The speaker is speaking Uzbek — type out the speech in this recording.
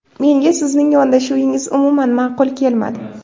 Menga sizning yondashuvingiz umuman ma’qul kelmadi.